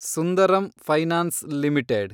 Sundaram finance limited